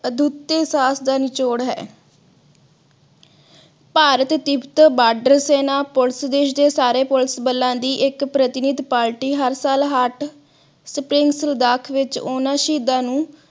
ਅਦੁਤੇ ਸਾਹਸ ਦਾ ਨਿਚੋੜ ਹੈ ਭਾਰਤ ਤਿਬਤ ਬਾਰਡਰ ਸੈਨਾ police ਦੇਸ਼ ਦੇ ਸਾਰੇ police ਬੱਲਾ ਦੀ ਇਕ ਪ੍ਰਧੀਨਿਧਿ party ਹਰ ਸਾਲ heart spring ਸੁਦਾਖ ਵਿਚ ਓਹਨਾ ਸ਼ਹੀਦਾਂ ਨੂੰ